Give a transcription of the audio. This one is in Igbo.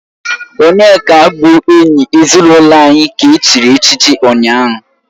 Onyeka bụ enyi ezinụlọ anyị ka e chiri echichi ụnyahụ